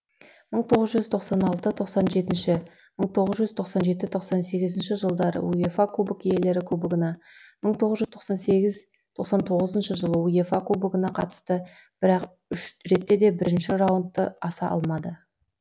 мың тоғыз жүз тоқсан алты тоқсан жеті мың тоғыз жүз тоқсан жеті тоқсан сегіз жылдары уефа кубок иелері кубогына мың тоғыз жүз тоқсан сегіз тоқсан тоғыз жылы уефа кубогына қатысты бірақ үш ретте де бірінші раундтан аса алмады